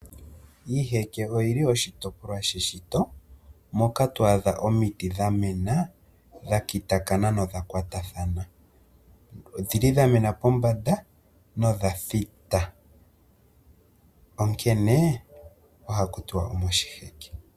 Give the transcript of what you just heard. Iiheke oyi li oshitopolwa she shito moka to adha omiti dha mena dha kitakathana nodha kwatathana. Ohadhi kala dha thita na oha mwiithanwa moshiheke.